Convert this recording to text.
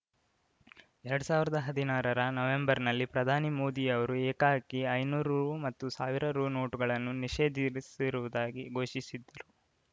ಎರಡ್ ಸಾವಿರದ ಹದಿನಾರರ ನವೆಂಬರ್‌ನಲ್ಲಿ ಪ್ರಧಾನಿ ಮೋದಿ ಅವರು ಏಕಾಏಕಿ ಐನೂರು ರು ಮತ್ತು ಸಾವಿರ ರು ನೋಟುಗಳನ್ನು ನಿಷೇಧಿಸಿರುವುದಾಗಿ ಘೋಷಿಸಿದ್ದ